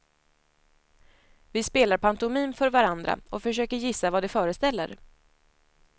Vi spelar pantomim för varandra och försöker gissa vad det föreställer.